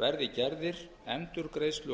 verði gerðir endurgreiðslu og og